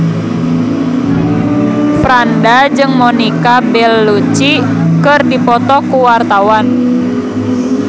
Franda jeung Monica Belluci keur dipoto ku wartawan